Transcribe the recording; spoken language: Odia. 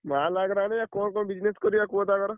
ମାଲ୍ ଆଗରେ ଆଣିଆ କଣ କଣ business କରିଆ କୁହ ତ ଆଗର?